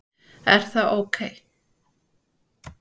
Er það ok?